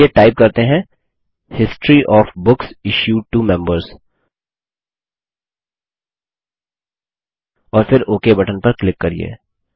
चलिए टाइप करते हैं हैं history of books issued to members और फिर ओक बटन पर क्लिक करिये